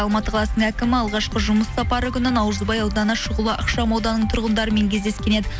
алматы қаласының әкімі алғашқы жұмыс сапары күні наурызбай ауданы шұғыла ықшам ауданының тұрғындарымен кездескен еді